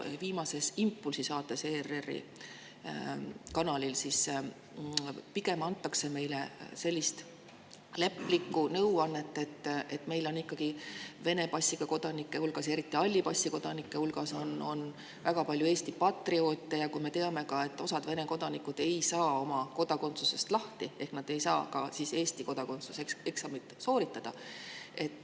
Viimases "Impulsi" saates ERR‑i kanalil anti meile pigem nõu leplikumad, kuna meil on ikkagi Vene passiga hulgas, eriti aga halli passiga hulgas väga palju Eesti patrioote ja me teame ka, et osa Vene kodanikke ei saa sellest kodakondsusest lahti, nad ei saa ka Eesti kodakondsuse eksamit sooritada.